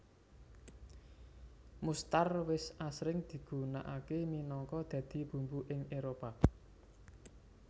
Mustar wis asring digunakake minagka dadi bumbu ing Éropah